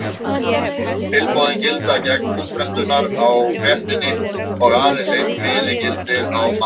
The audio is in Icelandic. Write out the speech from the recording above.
Tilboðin gilda gegn útprentunar á fréttinni og aðeins einn miði gildir á mann.